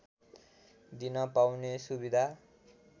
दिन पाउने सुविधा